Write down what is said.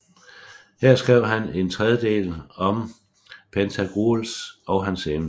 Her skrev han en tredje del om Pantagruel og hans eventyr